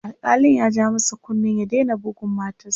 alkalin ya ja masa kunnen ya Daina budgun matarsa